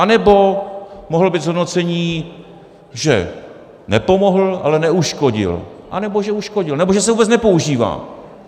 Anebo mohlo být zhodnocení, že nepomohl, ale neuškodil, anebo že uškodil, nebo že se vůbec nepoužívá.